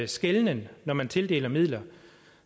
skelnen når man tildeler midler